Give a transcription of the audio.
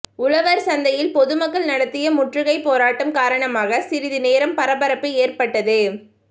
உழவர் சந்தையில் பொது மக்கள் நடத்திய முற்றுகை போராட்டம் காரணமாக சிறிது நேரம் பரபரப்பு ஏற்பட்டது